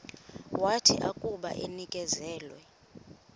wathi akuba enikezelwe